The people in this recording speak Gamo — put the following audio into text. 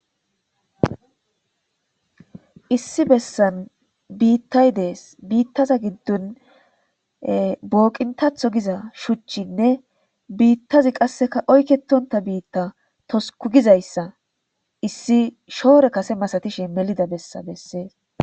issi bessan biittay dees biittaza giddon booqintatho giza shuchchinne biittazi qasseka oyketonta biitta tosuku gizayssa issi shoore kase masatishe melida bessa bessees